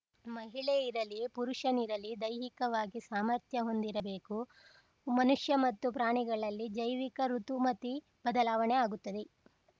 ಮಹಿಳೆ ಇರಲಿ ಪುರುಷನಿರಲಿ ದೈಹಿಕವಾಗಿ ಸಾಮಾರ್ಥ್ಯ ಹೊಂದಿರಬೇಕು ಮನುಷ್ಯ ಮತ್ತು ಪ್ರಾಣಿಗಳಲ್ಲಿ ಜೈವಿಕ ಋುತಮತಿ ಬದಲಾವಣೆ ಆಗುತ್ತದೆ